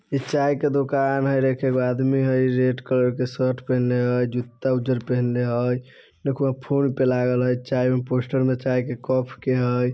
इ चाय के दोकान हय रेख एगो आदमी हय रेड कलर के शर्ट पिहनले हय जुत्ता उज्जर पहने हय देख वहा फोन पे लागल हय चाय में पोस्टर में चाय के कफ के हय।